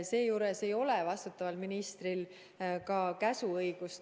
Seejuures ei ole vastutaval ministril Kaitseväe juhataja suhtes käsuõigust.